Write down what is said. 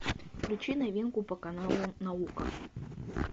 включи новинку по каналу наука